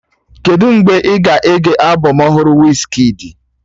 Kedụ mgbe ị ga-ege albọm ọhụrụ Wizkidi?